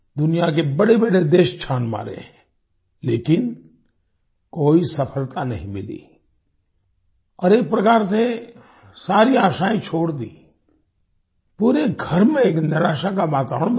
दुनिया के बड़ेबड़े देश छान मारे लेकिन कोई सफलता नहीं मिली और एक प्रकार से सारी आशायें छोड़ दी पूरे घर में एक निराशा का वातावरण बन गया